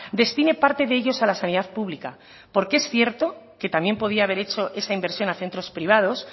destine parte de ellos a la sanidad pública porque es cierto que también podría haber hecho esa inversión a centros privados